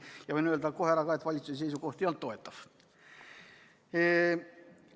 Võin siinkohal kohe ära öelda, et valitsuse seisukoht selle eelnõu suhtes ei olnud toetav.